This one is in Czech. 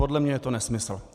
Podle mě je to nesmysl.